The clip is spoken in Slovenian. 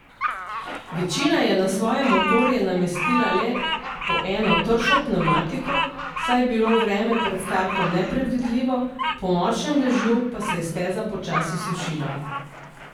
Večina je na svoje motorje namestila le po eno tršo pnevmatiko, saj je bilo vreme pred startom nepredvidljivo, po močnem dežju pa se je steza počasi sušila.